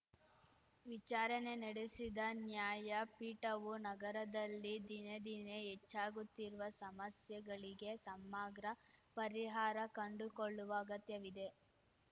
ವಿಚಾರಣೆ ನಡೆಸಿದ ನ್ಯಾಯಪೀಠವು ನಗರದಲ್ಲಿ ದಿನೇ ದಿನೇ ಹೆಚ್ಚಾಗುತ್ತಿರುವ ಸಮಸ್ಯೆಗಳಿಗೆ ಸಮಗ್ರ ಪರಿಹಾರ ಕಂಡುಕೊಳ್ಳುವ ಅಗತ್ಯವಿದೆ